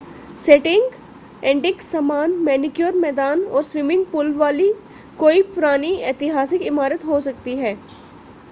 setting antique सामान manicure मैदान और स्विमिंग पूल वाली कोई पुरानी ऐतिहासिक इमारत हो सकती है